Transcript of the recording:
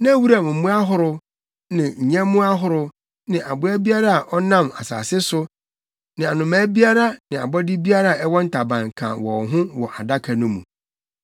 Na wuram mmoa ahorow ne nyɛmmoa ahorow ne aboa biara a ɔnam asase so ne anomaa biara ne abɔde biara a ɛwɔ ntaban ka wɔn ho wɔ Adaka no mu.